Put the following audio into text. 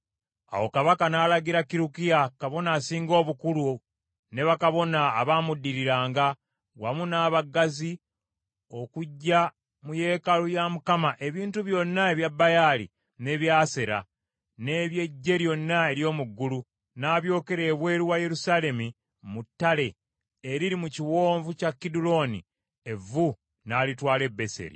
Awo kabaka n’alagira Kirukiya kabona asinga obukulu ne bakabona abaamuddiriranga, wamu n’abaggazi okuggya mu yeekaalu ya Mukama ebintu byonna ebya Baali n’ebya Asera, n’eby’eggye lyonna ery’omu ggulu, n’abyokera ebweru wa Yerusaalemi mu ttale eriri mu kiwonvu kya Kiduloni, evvu n’alitwala e Beseri .